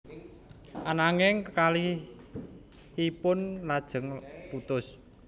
Ananging kekalihipun lajeng putus